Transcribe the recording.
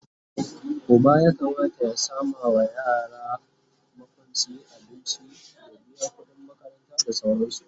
Uba ya Kamata ya samawa yara makwanci, abinci, ya biya kudin makaranta da sauransu